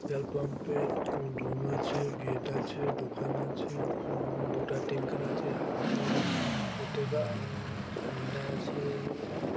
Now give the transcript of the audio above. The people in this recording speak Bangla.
তেল পাম্প -এ একটা রুম আছে গেট আছে দোকান আছে উ-ম-ম দুটা ট্যাংকার আছে হা-উম কত-গা উ-ম-ম ঝাণ্ডা আছে উ-ম-ম--